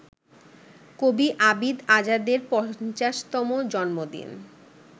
কবি আবিদ আজাদের পঞ্চাশতম জন্মদিন